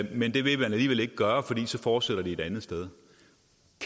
men det vil man alligevel ikke gøre for så fortsætter de bare et andet sted